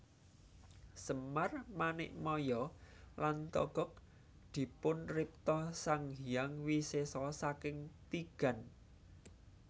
Semar Manikmaya lan Togog dipunripta Sang Hyang Wisesa saking tigan